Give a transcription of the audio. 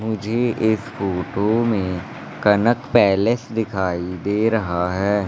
मुझे इस फोटो में कनक पैलेस दिखाई दे रहा है।